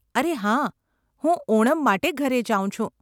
અરે હા, હું ઓનમ માટે ઘરે જાઉં છું.